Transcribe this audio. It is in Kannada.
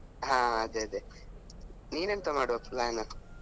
ಹಾ ಅದೇ ಅದೇ ನಿನ್ ಎಂತ ಮಾಡುವ plan next ?